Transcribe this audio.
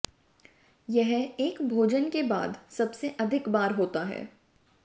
यह एक भोजन के बाद सबसे अधिक बार होता है